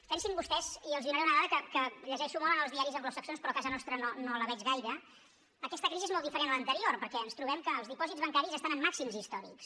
pensin vostès i els donaré una dada que llegeixo molt en els diaris anglosaxons però a casa nostra no la veig gaire aquesta crisi és molt diferent a l’anterior perquè ens trobem que els dipòsits bancaris estan en màxims històrics